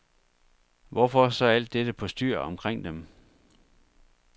Hvorfor så alt dette postyr omkring dem?